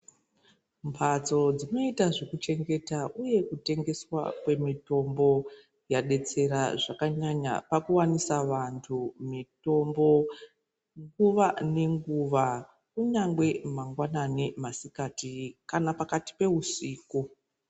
Mbatso dzinoita zvekuchengeta uye kutengeswa kwemitombo yadetsera zvakanyanya pakuwanisa vanthu mitombo nguva nenguva. Kunyangwe mangwani, masikati kana pakati peusiku .